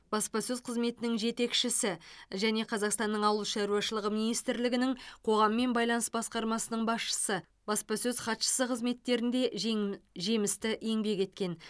баспасөз қызметінің жетекшісі және қазақстанның ауыл шаруашылығы министрлігінің қоғаммен байланыс басқармасының басшысы баспасөз хатшысы қызметтерінде жем жемісті еңбек еткен